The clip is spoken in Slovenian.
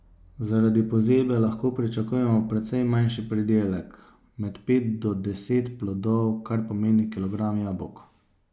Zaradi pozebe lahko pričakujemo precej manjši pridelek, med pet do deset plodov, kar pomeni kilogram jabolk.